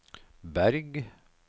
Berg